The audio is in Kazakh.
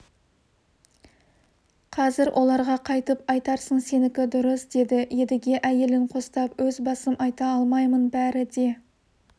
қазір оларға қайтіп айтарсың сенікі дұрыс деді едіге әйелін қостап өз басым айта алмаймын бәрі де